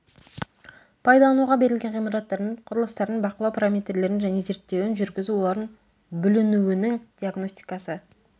пайдалануға берілген ғимараттардың құрылыстардың бақылау параметрлерін және зерттеуін жүргізу олардың бүлінуінің диагностикасы